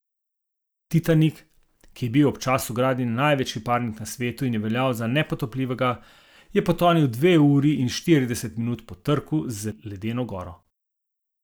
Titanik, ki je bil ob času gradnje največji parnik na svetu in je veljal za nepotopljivega, je potonil dve uri in štirideset minut po trku z ledeno goro.